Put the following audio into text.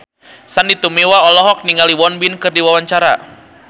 Sandy Tumiwa olohok ningali Won Bin keur diwawancara